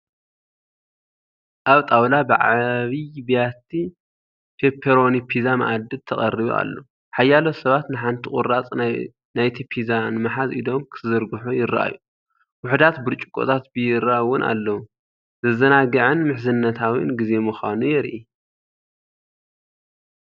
ኣብ ጣውላ ብዓቢይ ብያቲ ፔፐሮኒ ፒዛ ማኣዲ ተቐሪቡ ኣሎ። ሓያሎ ሰባት ንሓንቲ ቁራጽ ናይቲ ፒዛ ንምሓዝ ኢዶም ክዝርግሑ ይረኣዩ። ውሑዳት ብርጭቆታት ቢራ እውን ኣለዉ። ዘዘናግዕን ምሕዝነታዊን ግዜ ምዃኑ የርኢ፡፡